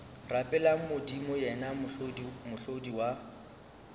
rapeleng modimo yena mohlodi wa